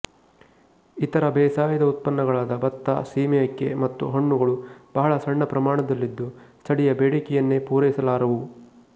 ಇತರ ಬೇಸಾಯದ ಉತ್ಪನ್ನಗಳಾದ ಬತ್ತ ಸೀಮೆಅಕ್ಕಿ ಮತ್ತು ಹಣ್ಣುಗಳು ಬಹಳ ಸಣ್ಣ ಪ್ರಮಾಣದಲ್ಲಿದ್ದು ಸ್ಥಳೀಯ ಬೇಡಿಕೆಯನ್ನೇ ಪೂರೈಸಲಾರವು